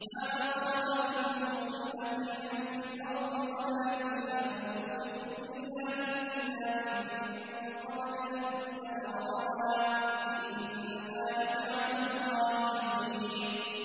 مَا أَصَابَ مِن مُّصِيبَةٍ فِي الْأَرْضِ وَلَا فِي أَنفُسِكُمْ إِلَّا فِي كِتَابٍ مِّن قَبْلِ أَن نَّبْرَأَهَا ۚ إِنَّ ذَٰلِكَ عَلَى اللَّهِ يَسِيرٌ